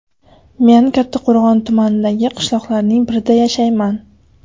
Men Kattaqo‘rg‘on tumanidagi qishloqlarning birida yashayman.